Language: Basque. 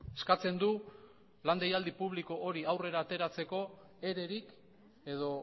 eskatzen du lan deialdi publiko hori aurrera ateratzeko ererik edo